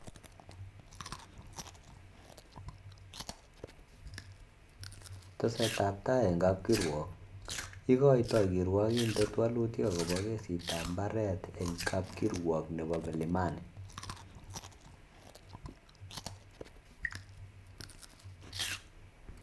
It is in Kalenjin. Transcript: Tesetetbai eng kapkirwok-ikoitoi kirwokindet walutik akobo kesitab mbaret eng kapkirwok nebo mlimani.